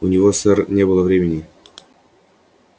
у него сэр не было времени